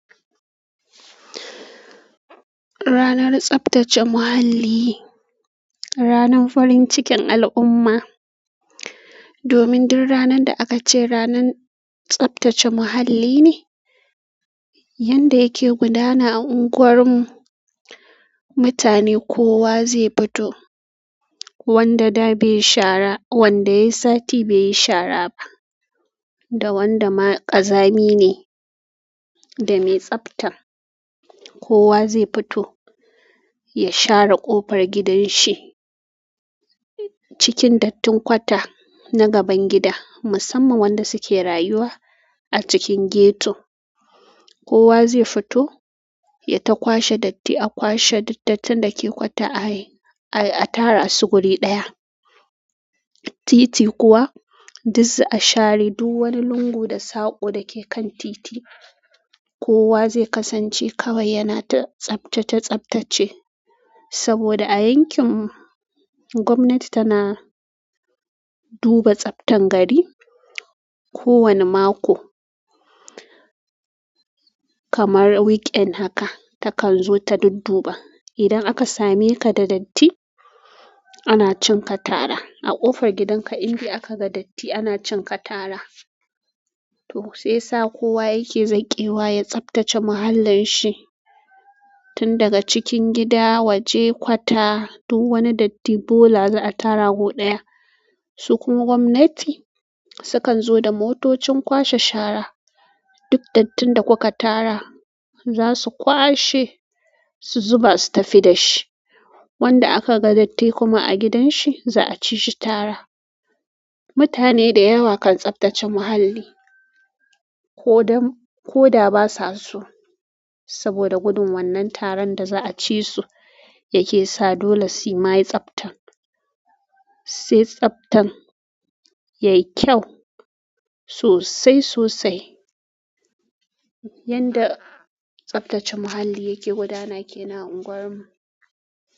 Ranar tsaftace muhalli, ranar farin cikin al'umma. Domin duk ranan da aka ce ranan tsaftace muhalli ne, yanda yake gudana a unguwar mu. Mutane kowa zai fito, wanda da bai yi shara, wanda yayi sati bai yi shara ba, da wanda ma ƙazami ne da mai tsafta. Kowa zai fito ya share ƙofar gidan shi cikin dattin kwata na gaban gida, musamman wanda suke rayuwa a cikin ghetto. Kowa zai fito ya ta kwashe datti, a kwashe duk dattin da ke kwata a yi, a tara su guri ɗaya. Titi kuwa, duk za a share duk wani lungu da saƙo da ke kan titi. Kowa zai kasance kawai yana ta tsaftace tsaftace. Saboda a yankin, gwamnati tana duba tsaftan gari. Ko wane mako, kamar weekend haka, takan zo ta dudduba. Idan aka same ka da datti, ana cin ka tara. A ƙofar gidan ka in dai aka ga datti, ana cin ka tara. To sai yasa kowa yake zakewa ya tsaftace muhallin shi. Tun daga cikin gida waje kwata, duk wani datti bola za'a tara ko ɗaya. Sukuma gwamnati, su kan zo da motocin kwashe shara. Duk dattin da kuka tara, su za su kwashe, su zuba su tafi da shi. Wanda a ka ga datti kuma a gidanshi za a ci shi tara. Mutane da yawa kan tsaftace muhalli. Ko dam, ko da ba sa so. Saboda gudun wannan taran da za'a ci su yake sa dole su ma yi tsaftan. Sai tsaftan yayi kyau sosai sosai. Yanda tsaftace muhalli ke gudana kenan a unguwarmu.